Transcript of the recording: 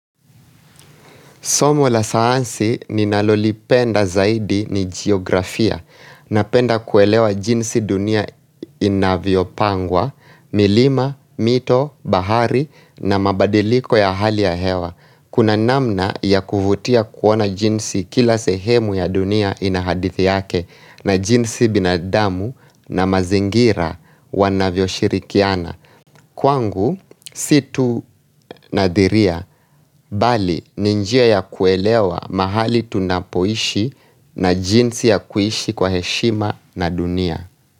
Somo la sayansi ninalolipenda zaidi ni geografia napenda kuelewa jinsi dunia inavyopangwa, milima, mito, bahari na mabadiliko ya hali ya hewa. Kuna namna ya kuvutia kuona jinsi kila sehemu ya dunia ina hadithi yake na jinsi binadamu na mazingira wanavyoshirikiana. Kwangu, si tu nadhiria bali ni njia ya kuelewa mahali tunapoishi na jinsi ya kuishi kwa heshima na dunia.